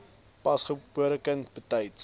pasgebore kind betyds